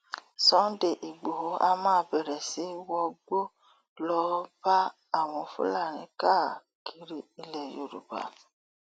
sunday igboro a máa bẹrẹ sí í wọgbó lọọ bá àwọn fúlàní káàkiri ilẹ yorùbá